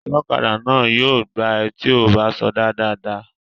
Ọlọ́kadà náà yóò gbá ẹ tí ò bá sọdá dáadáa